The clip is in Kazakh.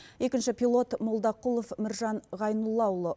екінші пилот молдақұлов міржан гайнуллаұлы